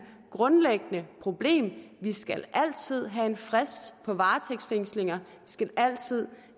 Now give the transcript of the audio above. grundlæggende problem vi skal altid have en frist på varetægtsfængslinger skal altid